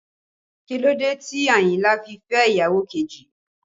Kí ló dé tí Àyìnlá fi fẹ́ ìyàwó kejì?